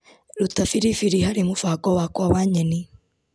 Ruta biribiri harĩ mũbango wakwa wa nyeni .